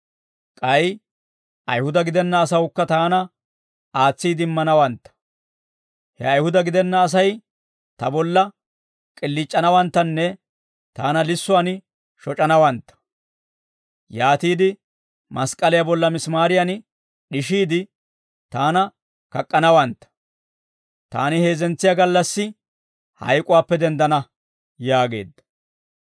K'ay Ayihuda gidenna asawukka taana aatsiide immanawantta; he Ayihuda gidenna Asay ta bolla k'iliic'anawanttanne taana lissuwaan shoc'anawantta; yaatiide mask'k'aliyaa bolla misimaariyan d'ishiide, taana kak'k'anawantta; taani heezzentsiyaa gallassi hayk'uwaappe denddana» yaageedda.